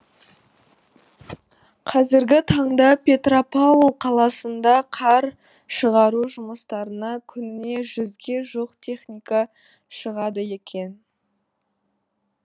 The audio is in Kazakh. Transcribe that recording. қазіргі таңда петропавл қаласында қар шығару жұмыстарына күніне жүзге жуық техника шығады екен